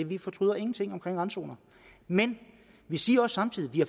vi fortryder ingenting omkring randzoner men vi siger samtidig at vi